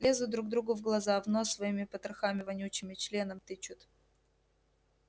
лезут друг другу в глаза в нос своими потрохами вонючими членом тычут